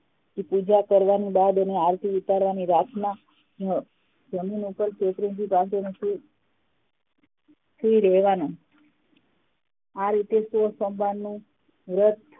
પૂજા કરવાની બાદ એની ઉતારવાની રાતના જમીન ઉપ્પર શેતરંજી પાથરીને સુઈ સુઈ રહેવાનું આ રીતે સોમવારનું વ્રત